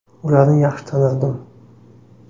Ularni yaxshi tanirdim.